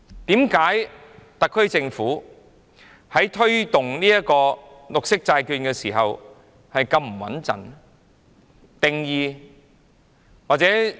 為何特區政府在推動綠色債券時，做法會這麼不穩妥？